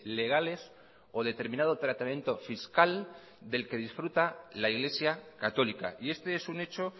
legales o determinado tratamiento fiscal del que disfruta la iglesia católica y este es un hecho